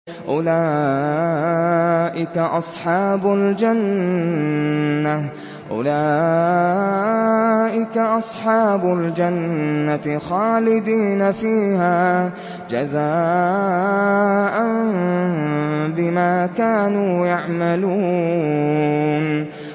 أُولَٰئِكَ أَصْحَابُ الْجَنَّةِ خَالِدِينَ فِيهَا جَزَاءً بِمَا كَانُوا يَعْمَلُونَ